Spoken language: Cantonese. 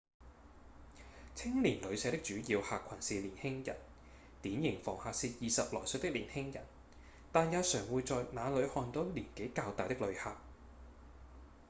青年旅社的主要客群是年輕人典型房客是20來歲的年輕人但也常會在那裡看到年紀較大的旅客